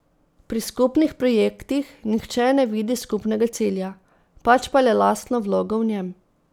Pri skupnih projektih nihče ne vidi skupnega cilja, pač pa le lastno vlogo v njem.